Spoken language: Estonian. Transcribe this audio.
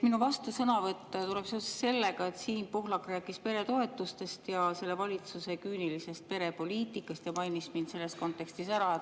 Minu vastusõnavõtt tuleb seoses sellega, et Siim Pohlak rääkis peretoetustest ja selle valitsuse küünilisest perepoliitikast ning mainis mind selles kontekstis ära.